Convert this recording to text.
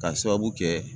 Ka sababu kɛ